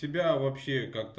тебя вообще как то